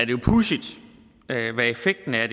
jo pudsigt hvad effekten af